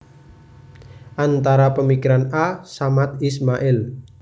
Antara pemikiran A Samad Ismail